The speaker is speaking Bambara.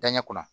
Danɲɛ kunna